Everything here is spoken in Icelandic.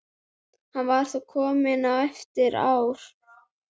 Hann var þá kominn á efri ár.